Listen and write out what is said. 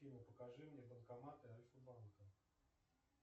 афина покажи мне банкоматы альфа банка